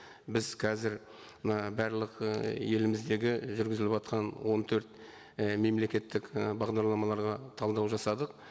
біз қазір мына барлық ы еліміздегі жүргізіліватқан он төрт і мемлекеттік і бағдарламаларға талдау жасадық